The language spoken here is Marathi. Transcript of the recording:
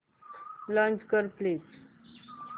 लॉंच कर प्लीज